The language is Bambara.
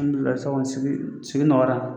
Alihamidulahi sisan kɔni sigi sigi nɔgɔyara.